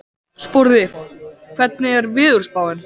Sporði, hvernig er veðurspáin?